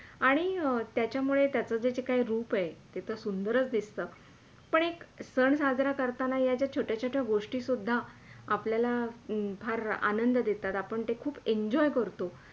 आणि त्याच्यामुळे त्याचा जे काही रूप आहे ते तर सुंदरच दिसतं पण एक सण साजरा करताना या ज्या छोट्या - छोट्या गोष्टी सुद्धा आपल्याला खूप आनंद देतात. आपण ते खूप Enjoy करतो.